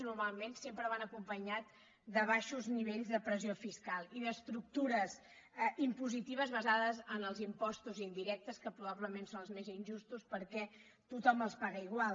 normalment sempre van acompanyades de baixos nivells de pressió fiscal i d’estructures impositives basades en els impostos indirectes que probablement són els més injustos perquè tothom els paga igual